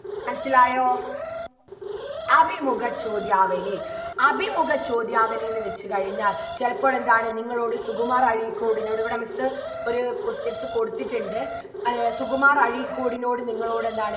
മനസ്സിലായോ അഭിമുഖ ചോദ്യാവലി അഭിമുഖ ചോദ്യാവലീന്ന് വെച്ച് കഴിഞ്ഞാൽ ചെലപ്പോഴെന്താണ് നിങ്ങളോട് സുകുമാർ അഴീക്കോടിനോട് ഇവിടെ miss ഒരു questions കൊടിത്തിട്ടുണ്ട് ഏർ സുകുമാർ അഴീക്കോടിനോട് നിങ്ങളോട് എന്താണ്